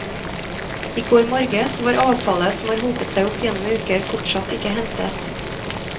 I går morges var avfallet, som har hopet seg opp gjennom uker, fortsatt ikke hentet.